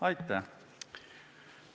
Aitäh!